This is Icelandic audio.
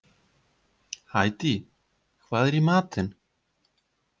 Hædý, hvað er í matinn?